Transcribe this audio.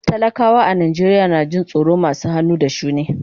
Talakawa a Najeriya na jin tsoron masu hannu da shuni.